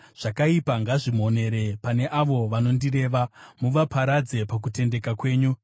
Zvakaipa ngazvimonere pane avo vanondireva; muvaparadze pakutendeka kwenyu.